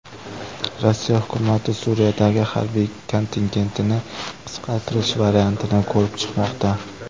Rossiya hukumati Suriyadagi harbiy kontingentini qisqartirish variantini ko‘rib chiqmoqda.